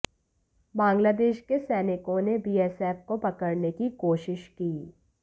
बांग्लादेश के सैनिकों ने बीएसएफ को पकड़ने की कोशिश की